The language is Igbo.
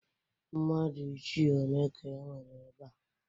Mmadụ ichie one ka e nwere ebe a?